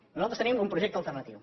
nosaltres tenim un projecte alternatiu